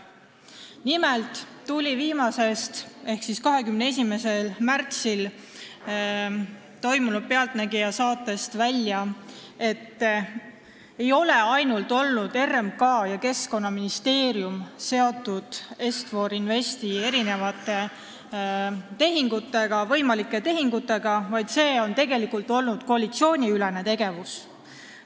Nimelt tuli viimasest ehk 21. märtsi "Pealtnägija" saatest välja, et mitte ainult RMK ja Keskkonnaministeerium ei ole Est-For Investi võimalike tehingutega seotud olnud – see on tegelikult olnud koalitsiooniülene tegevus.